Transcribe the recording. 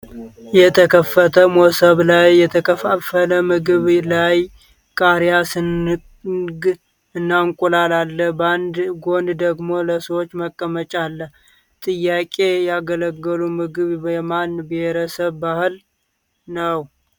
የተከፈተ መሶብ ላይ የተከፋፈለ ምግብ ላይ ቃሪያ (ስንግ) እና እንቁላል አለ ፤ ባንድ ጎን ደግሞ ለሰዎች መቀመጫ አለ :- ጥያቄዬ የአገልግል ምግብ የማን ብሔረሰብ ባሕል ነው?